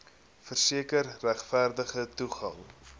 verseker regverdige toegang